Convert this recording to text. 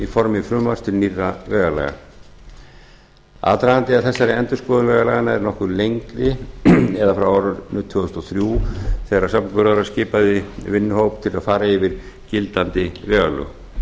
formi frumvarps til nýrra vegalaga aðdragandinn að þessari endurskoðun vegalaganna er nokkuð lengri eða frá árinu tvö þúsund og þrjú þegar samgönguráðherra skipaði vinnuhóp til að fara yfir gildandi vegalög